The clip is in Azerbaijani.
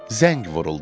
Zəng vuruldu.